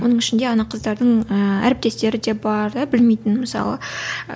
оның ішінде ана қыздардың ііі әріптестері де бар да білмейтін мысалы